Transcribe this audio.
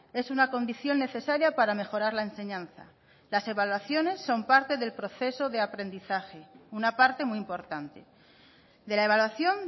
es una condición necesaria para mejorar la enseñanza las evaluaciones son parte del proceso de aprendizaje una parte muy importante de la evaluación